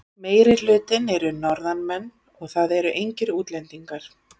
Meirihlutinn eru Norðanmenn og það eru engir útlendingar.